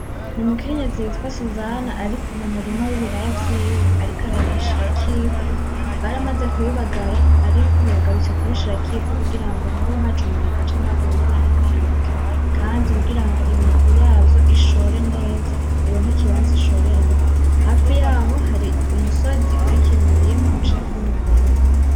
Ni umukenyezi yitwa Suzana ari mu murima wibiraya vyiwe, ariko arabishirako ivu baramaze kubibagara ariko ubu yagarutse kubishirako ivu kugirango nkubu haje umuyaga canke haguye imvura ntibuhenuke kandi kugirango imizi yavyo ishore neza ironke ikibanza ishoreramwo ,hafi yaho hari umusozi uriko imirima uciyeko n'imikobero.